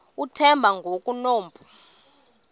uthemba ngoku enompu